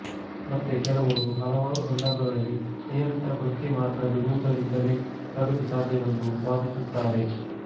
ಮತ್ತೆ ಕೆಲವರು ಹಲವಾರು ಸಂದರ್ಭಗಳಲ್ಲಿ ನಿಯಮಿತ ವೃತ್ತಿಮಾರ್ಗ ಬಿಡುವುದರಿಂದಲೇ ಪ್ರಗತಿ ಸಾಧ್ಯವೆಂದು ವಾದಿಸುತ್ತಾರೆ